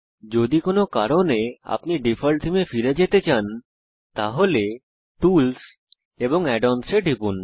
যদি কোনো কারণে আপনি ডিফল্ট থীমে ফেরত যেতে চান তাহলে টুলস এবং add অন্স এ টিপুন